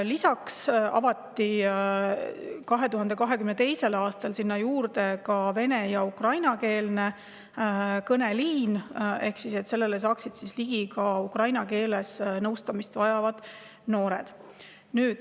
Lisaks avati 2022. aastal ka vene- ja ukrainakeelne kõneliin, et sellele pääseksid ligi ka ukraina keeles nõustamist vajavad noored.